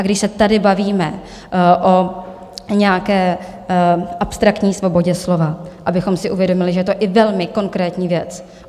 A když se tady bavíme o nějaké abstraktní svobodě slova, abychom si uvědomili, že je to i velmi konkrétní věc.